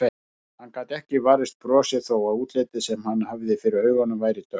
Hann gat ekki varist brosi þó að útlitið sem hann hafði fyrir augunum væri dökkt.